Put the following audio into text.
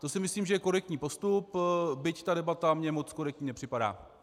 To si myslím, že je korektní postup, byť ta debata mně moc korektní nepřipadá.